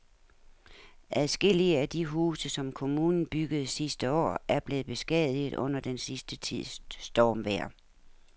Adskillige af de huse, som kommunen byggede sidste år, er blevet beskadiget under den sidste tids stormvejr.